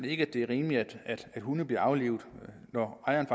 ikke at det er rimeligt at hunde bliver aflivet når ejeren